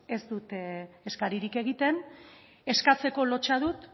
ez dut eskaririk egiten eskatzeko lotsa dut